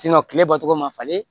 kile bɔcogo ma falen